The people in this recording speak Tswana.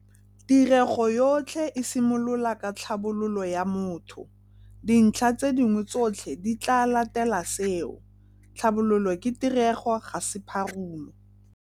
Tirego yotlhe e simolola ka tlhabololo ya motho - dintlha tse dingwe tsotlhe di tlaa latela seo. Tlhabololo ke tirego ga se pharumo.